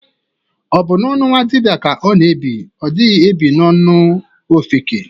Ọ bụ n'ọnụ nwadibia ka ọ na-ebi, ọ dighi ebi n'ọnụ ofeke.